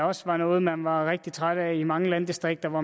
også var noget man var rigtig trætte af i mange landdistrikter hvor